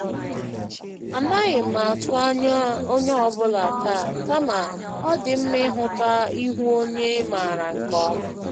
Anaghị m atụ ányá onyé ọ bụla taa, kama ọ dị mma ịhụta ihu onye ị maara nke ọma.